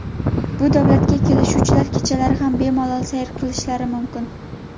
Bu davlatga keluvchilar kechalari ham bemalol sayr qilishlari mumkin.